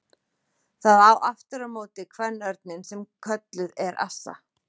Það á aftur á móti kvenörninn sem kölluð er assa.